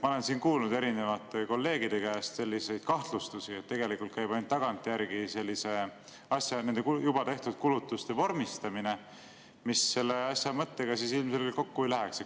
Ma olen siin kuulnud erinevate kolleegide käest selliseid kahtlustusi, et tegelikult käib ainult tagantjärgi nende juba tehtud kulutuste vormistamine, mis selle asja mõttega ilmselgelt kokku ei läheks.